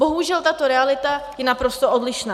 Bohužel, tato realita je naprosto odlišná.